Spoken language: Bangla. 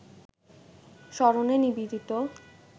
স্মরণে নিবেদিত